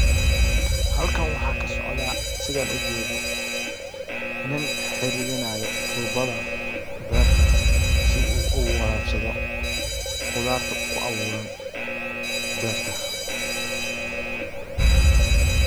Halkan waxaa ka socdaa sidaan ujeedo nin xiriirinayo tuubada beerta si uu u waraabsado khudaarta kuu abuuran beerta.